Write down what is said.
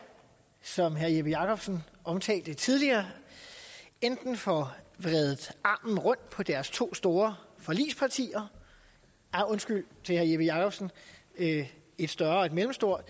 som herre jeppe jakobsen omtalte tidligere enten får vredet armen rundt på deres to store forligspartier undskyld til herre jeppe jakobsen et større og et middelstort